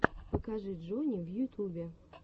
покажи джони в ютубе